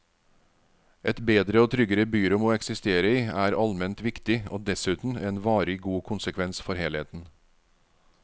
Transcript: Et bedre og tryggere byrom å eksistere i er alment viktig og dessuten en varig god konsekvens for helheten.